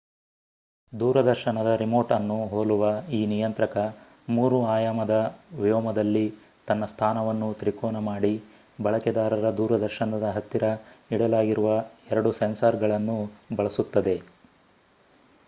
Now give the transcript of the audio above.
ದೂರದರ್ಶನದ ರಿಮೋಟ್ ಅನ್ನು ಹೋಲುವ ಈ ನಿಯಂತ್ರಕ 3 ಆಯಾಮದ ವ್ಯೋಮದಲ್ಲಿ ತನ್ನ ಸ್ಥಾನವನ್ನು ತ್ರಿಕೋನ ಮಾಡಿ ಬಳಕೆದಾರರ ದೂರದರ್ಶನದ ಹತ್ತಿರ ಇಡಲಾಗಿರುವ 2 ಸೆನ್ಸಾರ್ ಗಳನ್ನು ಬಳಸುತ್ತದೆ